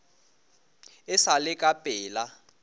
e sa le ka pela